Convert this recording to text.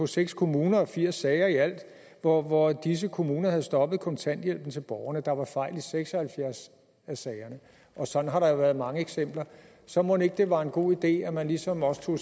seks kommuner firs sager i alt hvor hvor disse kommuner havde stoppet kontanthjælpen til borgerne der var fejl i seks og halvfjerds af sagerne og sådan har der jo været mange eksempler så mon ikke det var en god idé at man ligesom også tog